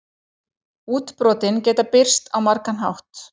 Útbrotin geta birst á margan hátt.